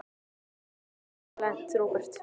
Í hverju erum við eiginlega lent, Róbert?